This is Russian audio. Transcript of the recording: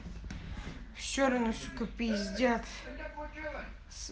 чернышка п